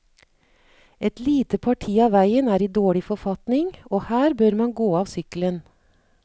Et lite parti av veien er i dårlig forfatning, og her bør man gå av sykkelen.